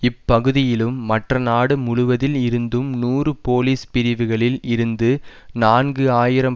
இப்பகுதியிலும் மற்ற நாடு முழுவதில் இருந்தும் நூறு போலீஸ் பிரிவுகளில் இருந்து நான்கு ஆயிரம்